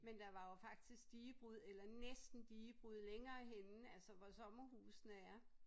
Men der var jo faktisk digebrud eller næsten digebrud længere henne altså hvor sommerhusene er